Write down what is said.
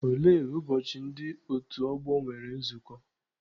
Olee ụbọchị ndị otu ọgbọ nwere nzukọ?